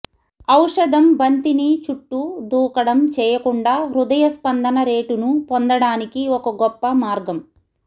ఔషధం బంతిని చుట్టూ దూకడం చేయకుండా హృదయ స్పందన రేటును పొందడానికి ఒక గొప్ప మార్గం